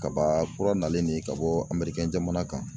Kaba kura nalen de ye ka bɔ jamana kan.